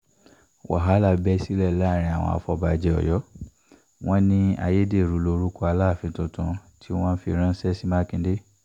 wàhálà bẹ́ sílẹ̀ láàrin àwọn afọbajẹ́ ọ̀yọ́ wọn ní ayédèrú lórúkọ aláàfin tuntun tí wọ́n fi ránṣẹ́ sí mákindé